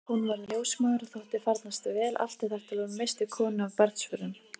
Hún varð ljósmóðir og þótti farnast vel allt þar til hún missti konu af barnsförum.